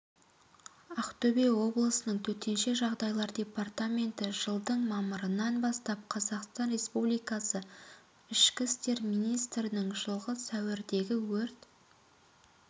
ақтөбе облысының төтенше жағдайлар департаменті жылдың мамырынан бастап қазақстан республикасы ішкі істер министрінің жылғы сәуірдегі өрт